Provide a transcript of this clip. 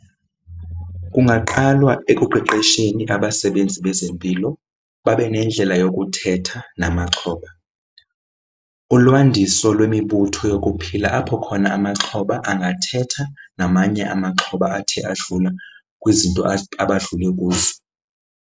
Kungaqalwa ekuqeqesheni abasebenzi bezempilo babe nendlela yokuthetha namaxhoba. Ulwandiso lwemibutho yokuphila apho khona amaxhoba angathetha namanye amaxhoba athe adlula kwizinto abadlule kuzo.